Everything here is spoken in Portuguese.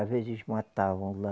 Às vezes matavam lá.